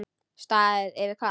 Staðið yfir hvað?